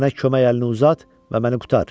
Mənə kömək əlini uzat və məni qurtar.